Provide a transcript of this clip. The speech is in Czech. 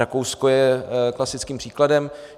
Rakousko je klasickým příkladem.